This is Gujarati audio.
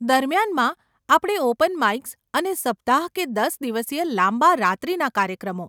દરમિયાનમાં, આપણે ઓપન માઈક્સ અને સપ્તાહ કે દસ દિવસીય લાંબા રાત્રીના કાર્યક્રમો.